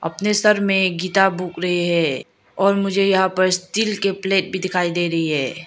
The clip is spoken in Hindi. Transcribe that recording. अपने सर में गीटा बोक रहे है और मुझे यहां पर स्टील के प्लेट भी दिखाई दे रही है।